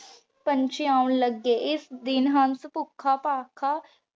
ਪੰਛੀ ਆਉਣ ਲਗੀ ਏਸ ਦਿਨ ਹੰਸ ਫੁਖਾ ਫਾਖਾ